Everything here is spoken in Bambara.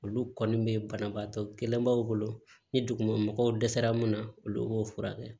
Olu kɔni bɛ banabaatɔ kelenbaw bolo ni duguma mɔgɔw dɛsɛra mun na olu b'o furakɛ